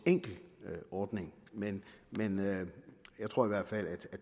enkel ordning men jeg tror i hvert fald